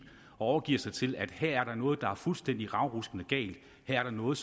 og overgiver sig til at der her er noget der er fuldstændig ravruskende galt her er der noget